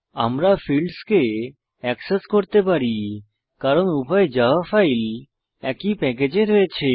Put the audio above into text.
আমরা ফীল্ডসকে এক্সেস করতে পারি কারণ উভয় জাভা ফাইল একই প্যাকেজে রয়েছে